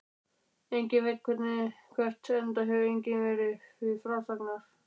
Enginn veit hvert, enda hefur enginn verið til frásagnar.